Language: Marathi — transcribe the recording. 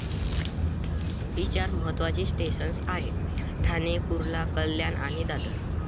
ही चार महत्त्वाची स्टेशन्स आहेत ठाणे, कुर्ला, कल्याण आणि दादर.